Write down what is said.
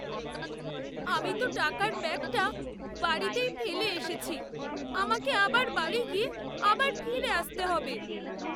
আমি তো টাকার ব্যাগটা বাড়িতেই ফেলে এসেছি। আমাকে আবার বাড়ি গিয়ে আবার ফিরে আসতে হবে।